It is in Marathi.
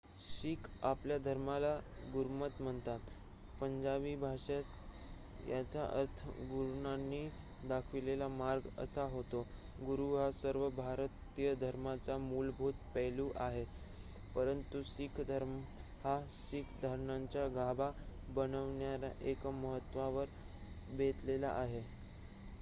"शीख आपल्या धर्माला गुरमत म्हणतात पंजाबी भाषेत याचा अर्थ "गुरूंनी दाखविलेला मार्ग" असा होतो. गुरू हा सर्व भारतीय धर्मांचा मूलभूत पैलू आहे परंतु शीख धर्म हा शीख धारणांचा गाभा बनविणाऱ्या एका महत्वावर बेतलेला आहे.